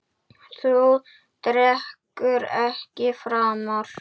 Þú drekkur ekki framar.